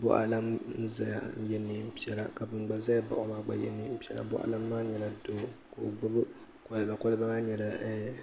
buɣalana n-zaya n-ye neen piɛla ka ban gba zaya baɣi o maa gba ye neen piɛla buɣalana maa nyɛla doo ka o gbubi koliba koliba maa nyɛla eeh